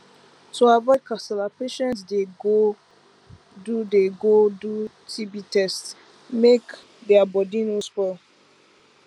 to avoid kasala patients dey go do dey go do tb test make their body no spoil